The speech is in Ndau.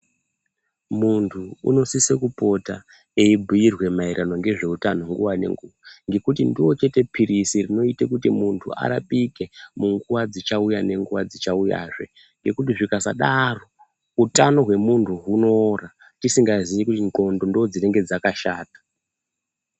Muntu unosise kupota eibhuirwe maererano ngezveutano nguva ngenguva. Ngekuti ndiro chete phirisi rinoite kuti muntu arapike munguva dzichauya nenguva dzichauyazve. Nekuti zvikasadaro utano hwemuntu hunoora tisingazii kuti ndxondo ndodzinenge dzakashata.